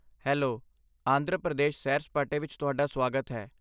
Hello, Andhra Pradesh ਸੈਰ ਸਪਾਟੇ ਵਿੱਚ ਤੁਹਾਡਾ ਸਵਾਗਤ ਹੈ।